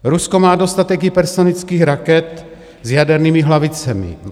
Rusko má dostatek hypersonických raket s jadernými hlavicemi.